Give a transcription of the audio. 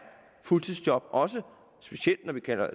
fuldtidsjob også specielt